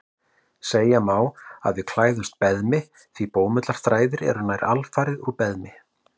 Segja má að við klæðumst beðmi því bómullarþræðir eru nær alfarið úr beðmi.